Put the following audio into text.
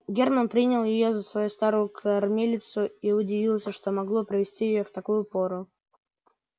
германн принял её за свою старую кормилицу и удивился что могло привести её в такую пору